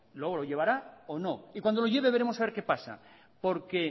luego lo llevará o no y cuando lo lleve veremos a ver qué pasa porque